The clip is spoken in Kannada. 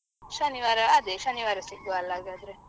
ಆಗಬೋದು ಶನಿವಾರ ಅದೆ ಶನಿವಾರ ಸಿಗುವ ಅಲ ಹಾಗಾದ್ರೆ.